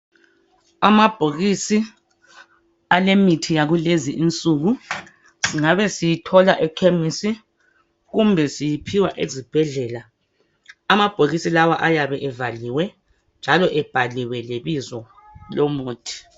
Amabhokisi alemithi yakule insuku ngabe siyithola ekhemisi kumbe siyiphiwa ezibhedlela amabhokisi lawa ayabe evaliwe njalo ebhaliwe lebizo lomuthi.